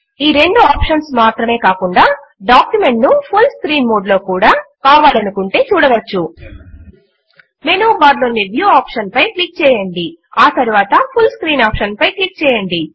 ఈ రెండు ఆప్షన్స్ మాత్రమే కాకుండా డాక్యుమెంట్ ను ఫుల్ స్క్రీన్ మోడ్ లో కూడా ఎవరైనా కావాలి అంటే చూడవచ్చు మెనూ బార్ లోని వ్యూ ఆప్షన్ పై క్లిక్ చేయండి మరియు ఆ తరువాత ఫుల్ స్క్రీన్ ఆప్షన్ పై క్లిక్ చేయండి